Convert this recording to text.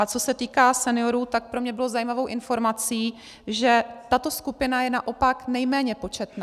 A co se týká seniorů, tak pro mě bylo zajímavou informací, že tato skupina je naopak nejméně početná.